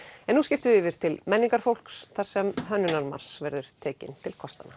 en nú skiptum við yfir til þar sem Hönnunarmars verður tekinn til kostanna